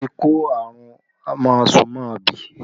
Olu tí kó àrùn máasu-máabì